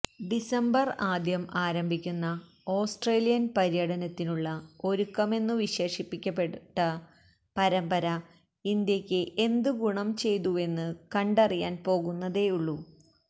December ആദ്യം ആരംഭിക്കുന്ന Australian പര്യടനത്തിനുള്ള ഒരുക്കമെന്നു വിശേഷിപ്പിക്കപ്പെട്ട പരമ്പര ഇന്ത്യയ്ക്ക് എന്തു ഗുണം ചെയ്തുവെന്നു കണ്ടറിയാൻ പോകുന്നതേയുള്ളൂ